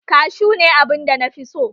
Kashu ne abunda nafi so